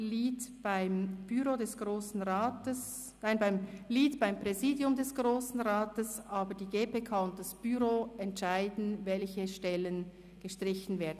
Lead beim Büro des Grossen Rats, nein, beim Präsidium des Grossen Rats, aber die GPK und das Büro entscheiden, welche Stellen gestrichen werden.